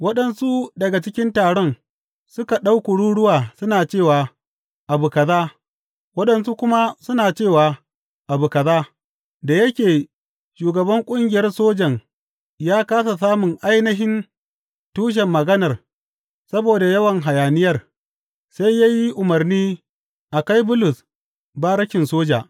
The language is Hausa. Waɗansu daga cikin taron suka ɗau kururuwa suna ce abu kaza, waɗansu kuma suna ce abu kaza, da yake shugaban ƙungiyar sojan ya kāsa samun ainihin tushen maganar saboda yawan hayaniyar, sai ya yi umarni a kai Bulus barikin soja.